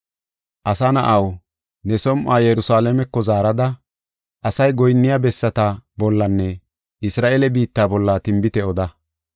“Asa na7aw, ne som7uwa Yerusalaameko zaarada, asay goyinniya bessata bollanne Isra7eele biitta bolla tinbite oda.